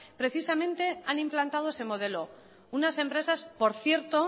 precisamente han implantado ese modelo unas empresas por cierto